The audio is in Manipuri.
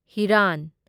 ꯍꯤꯔꯥꯟ